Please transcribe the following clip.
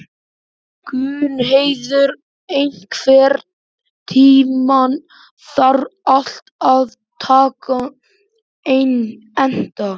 Gunnheiður, einhvern tímann þarf allt að taka enda.